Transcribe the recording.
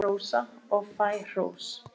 Ég hrósa og fæ hrós.